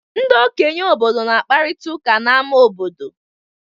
Ndị okenye obodo na-akparịta ụka n'ámá obodo.